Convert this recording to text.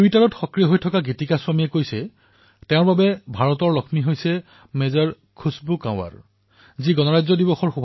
টুইটাৰত সক্ৰিয় হৈ থকা গীতিকা স্বামীৰ মতে মেজৰ খুশবু কম্বৰ হল ভাৰতৰ লক্ষ্মী যি বাছ কণ্ডাক্টৰৰ কন্যা আৰু তেওঁ অসম ৰাইফলছৰ সদৌ মহিলা গোটৰ নেতৃত্ব প্ৰদান কৰিছিল